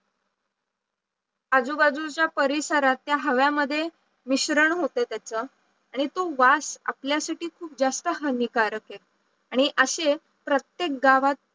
आजूबाजूच्या परिसराच्या हवेमध्ये मिश्रण होते त्याच आणि तो वास आपल्यासाठी जास्त हानिकारक आहे आणि अशे प्रत्येक गावात